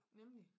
Nemlig